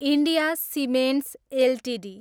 India cements Ltd